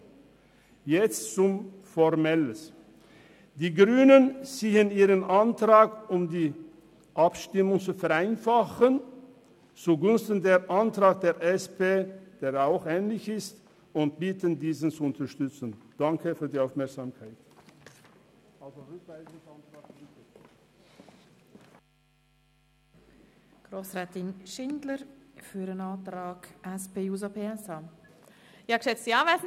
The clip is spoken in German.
Nun etwas Formelles: Die Grünen ziehen zur Vereinfachung der Abstimmung ihren Antrag zugunsten des Antrags der SP-JUSO-PSA zurück und bitten, den Antrag der SP-JUSPPSA zu unterstützen.